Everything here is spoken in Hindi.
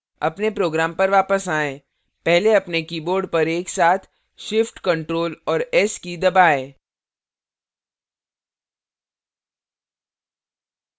अपने program पर वापस आएँ पहले अपने keyboard पर एक साथ shift ctrl और s की दबाएँ